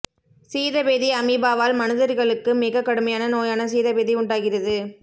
சீத பேதி அமீபாவால் மனிதர்களுக்கு மிகக் கடுமையான நோயான சீதபேதி உண்டாகிறது